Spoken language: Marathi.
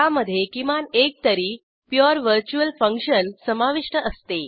त्यामधे किमान एक तरी प्युअर व्हर्च्युअल फंक्शन समाविष्ट असते